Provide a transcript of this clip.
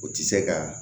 O tɛ se ka